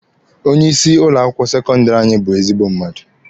Onye isi ụlọ akwụkwọ sekọndịrị anyị bụ ezigbo mmadụ.